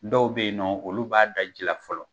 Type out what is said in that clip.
Dɔw bɛ yennɔ olu b'a da ji la fɔlɔ.